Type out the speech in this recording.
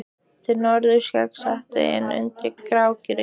Til norðurs gengur setið inn undir grágrýtið.